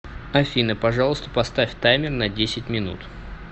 афина пожалуйста поставь таймер на десять минут